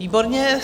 Výborně.